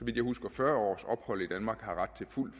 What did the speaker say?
jeg husker fyrre års ophold i danmark har ret til fuld